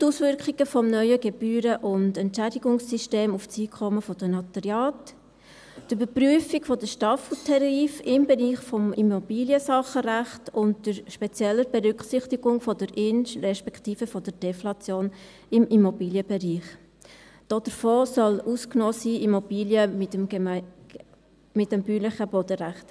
Die Auswirkungen des neuen Gebühren- und Entschädigungssystems auf das Einkommen der Notariate, die Überprüfung der Staffeltarife im Bereich des Immobiliensachenrechts unter spezieller Berücksichtigung der In- respektive der Deflation im Immobilienbereich – davon sollen Immobilen nach dem bäuerlichen Bodenrecht ausgenommen sein;